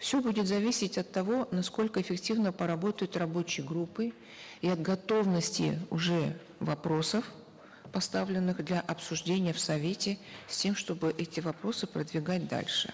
все будет зависеть от того насколько эффективно поработают рабочие группы и от готовности уже вопросов поставленных для обсуждения в совете с тем чтобы эти вопросы продвигать дальше